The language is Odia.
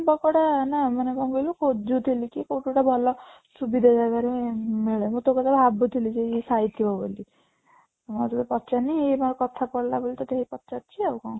ପକୋଡା ନା ମାନେ କ'ଣ କହିଲୁ ଖୋଜୁଥିଲି କି କୋଉଠି ଗୋଟେ ଭଲ ସୁବିଧା ଜାଗାରେ ମିଳେ ମୁଁ ତୋ କଥା ଭାବୁଥିଲି ସେ ଖାଇଥିବ ବୋଲି ମୁଁ ଆଉ ତୋତେ ପଚାରିନି ଏଇ କଥା ପଡିଲା ବୋଲି ଟିକେ ପଚାରୁଛି ଆଉ କ'ଣ